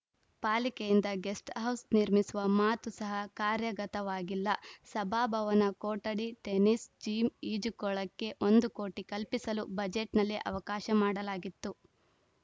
ಪಾಲಿಕೆಯಿಂದ guesthouse ನಿರ್ಮಿಸುವ ಮಾತು ಸಹ ಕಾರ್ಯಗತವಾಗಿಲ್ಲ ಸಭಾಭವನ ಕೊಠಡಿ ಟೆನಿಸ್‌ ಜಿಮ್‌ ಈಜುಕೊಳಕ್ಕೆ ಒಂದು ಕೋಟಿ ಕಲ್ಪಿಸಲು ಬಜೆಟ್‌ನಲ್ಲಿ ಅವಕಾಶ ಮಾಡಲಾಗಿತ್ತು